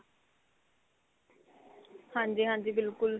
ਹਾਂਜੀ ਹਾਂਜੀ ਬਿਲਕੁਲ